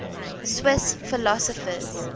swiss philosophers